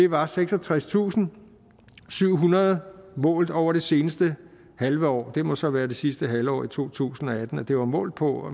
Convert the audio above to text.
var seksogtredstusinde og syvhundrede målt over det seneste halve år det må så være det sidste halvår af to tusind og atten det var målt på og